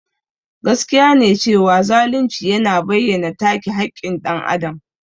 Gaskiya ne cewa zalunci yana bayyana take haƙƙin dan Adam.